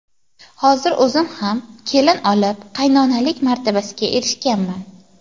Hozir o‘zim ham kelin olib, qaynonalik martabasiga erishganman.